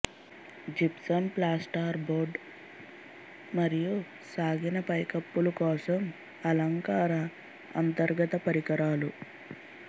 gypsum plaster board మరియు సాగిన పైకప్పులు కోసం అలంకార అంతర్గత పరికరాలు